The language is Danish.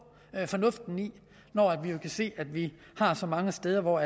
fornuften i når vi kan se at vi har så mange steder hvor